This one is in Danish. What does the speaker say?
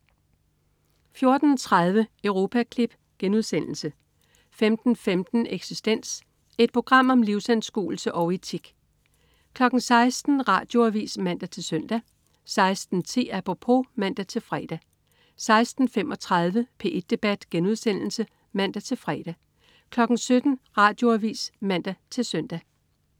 14.30 Europaklip* 15.15 Eksistens. Et program om livsanskuelse og etik 16.00 Radioavis (man-søn) 16.10 Apropos (man-fre) 16.35 P1 debat* (man-fre) 17.00 Radioavis (man-søn)